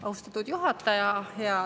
Austatud juhataja!